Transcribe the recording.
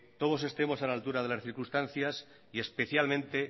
todos estemos a la altura de las circunstancias y especialmente